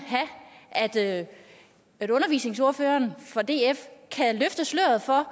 have at undervisningsordføreren for df kan løfte sløret for